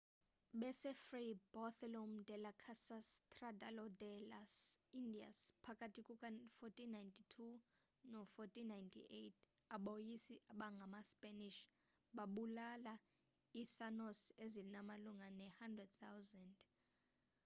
besefray bartolomé de las casas tratado de las indias phakathi kuka-1492 no-1498 aboyisi abangamaspanish babulala iitaínos ezimalunga ne-100 000